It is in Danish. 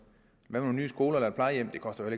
nogle nye skoler eller et plejehjem det koster jo